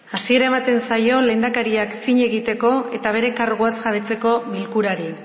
hasiera ematen zaio lehendakariak zin egiteko eta bere karguaz jabetzeko bilkurari